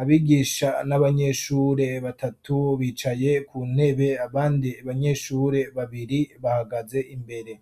Abigisha n'abanyeshure batatu bicaye ku ntebe abandi banyeshure babiri bahagaze imbere.